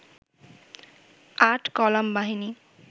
৮ column বাহিনী